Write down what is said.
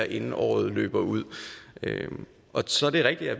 inden året løber ud så er det rigtigt at